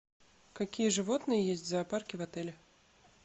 какие животные есть в зоопарке в отеле